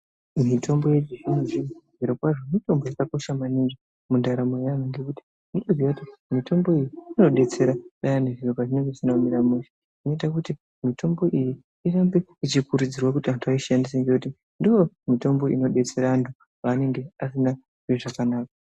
Mitombo yechizvino-zvino, zvirokwazvo, mitombo yakakosha maningi mundaramo yavantu ngekuti, mitombo iyi inodetsera payani zviro pezvinonga zvisina kumira mushe, zvinoite kuti mitombo iyi irambe ichikurudzirwa kuti antu aishandise ngekuti ndiyo mitombo inodetsere vantu pevanenge vasikazwi zvakanaka.